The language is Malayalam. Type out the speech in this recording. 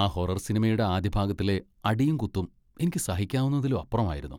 ആ ഹൊറർ സിനിമയുടെ ആദ്യ ഭാഗത്തിലെ അടിയും കുത്തും എനിക്ക് സഹിക്കാവുന്നതിലും അപ്പുറമായിരുന്നു,